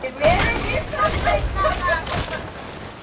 Við erum Íslandsmeistarar!